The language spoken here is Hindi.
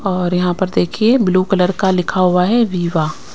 और यहां पर देखिए ब्लू कलर का लिखा हुआ है विवा--